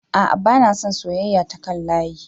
A'a bana son soyeyya ta kan layi